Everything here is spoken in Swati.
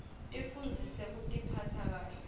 tifundzise kutiphatsa kahle